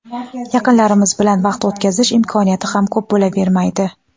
yaqinlarimiz bilan vaqt o‘tkazish imkoniyati ham ko‘p bo‘lavermaydi.